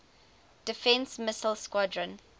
defense missile squadron